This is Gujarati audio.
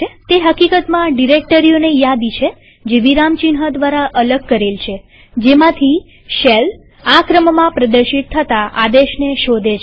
તે હકીકતમાં ડિરેક્ટરીઓની યાદી છે જે વિરામચિહ્ન દ્વારા અલગ કરેલ છેજેમાંથી શેલ આ ક્રમમાં પ્રદર્શિત થતા આદેશને શોધે છે